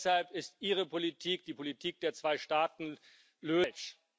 Deshalb ist Ihre Politik, die Politik der Zweistaatenlösung, falsch.